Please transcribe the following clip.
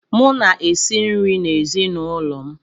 M na-esi nri n'ezinaụlọ m.